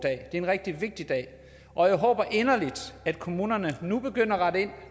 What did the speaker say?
en rigtig vigtig dag og jeg håber inderligt at kommunerne nu begynder at rette ind